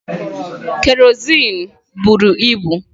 Kerọsinụ bụrụ ibu.